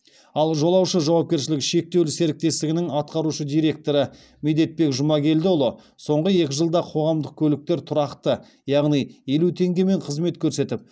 ал жолаушы жауапкершілігі шектеулі серіктестігінің атқарушы директоры медетбек жұмагелдіұлы соңғы екі жылда қоғамдық көліктер тұрақты яғни елу теңгемен қызмет көрсетіп